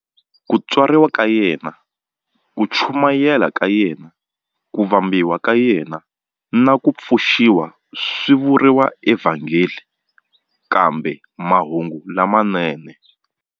Ku tswariwa ka yena, ku chumayela ka yena, ku vambiwa ka yena, na ku pfuxiwa swi vuriwa eVhangeli kumbe"Mahungu lamanene".